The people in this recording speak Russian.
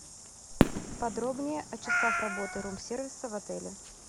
подробнее о часах работы рум сервиса в отеле